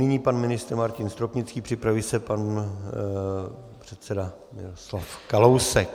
Nyní pan ministr Martin Stropnický, připraví se pan předseda Miroslav Kalousek.